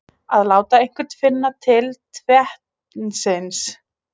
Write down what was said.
Að láta einhvern finna til tevatnsins